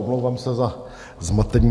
Omlouvám se za zmatení.